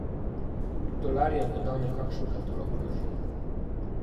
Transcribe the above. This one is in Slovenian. Dolar je podal nekakšen katalog laži.